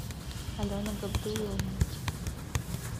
алена габдуловна